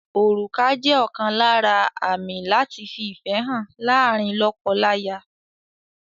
Orùkà jẹ́ ọ̀kan lára àmì láti fi ìfẹ́ hàn láàárín lọ́kọ-láya.